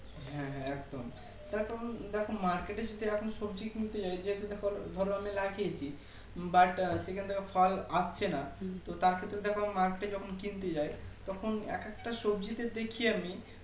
হ্যাঁ হ্যাঁ একদম দেখো দেখো মার্কেটে যদি এখন সবজি কিনতে যাই যেকটা পল ধরো আমি লাগিয়েছি But সেখান থেকে ফল আসছে না তো তার থেকে দেখ Market এ যখন কিনতে যাই তখন এক একটা সবজি তে দেখি আমি